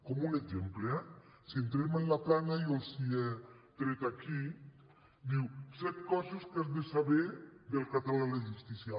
com un exemple eh si entrem en la plana jo els ho he tret aquí diu set co·ses que has de saber del català a la justícia